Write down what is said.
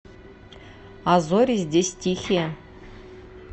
а зори здесь тихие